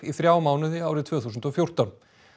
þrjá mánuði árið tvö þúsund og fjórtán